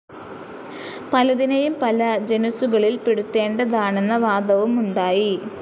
പലതിനെയും പല ജനുസുകളിൽ പെടുത്തേണ്ടതാണെന്ന വാദവും ഉണ്ടായി.